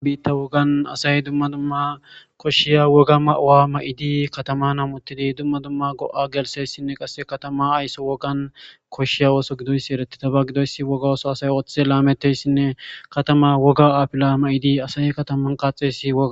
a bitta wogan asay dumma dumma koshshiya woga ma7awa ma7idi katama namuttidi dumma dumma go7a gelsessinne qasse katama ayso wogan koshshiya woso gidoyssi eretitaba gidoyssi woga oso asay ooththe laametteyssinne katama woga aapila ma7idi asay kataman qaaxeysi woga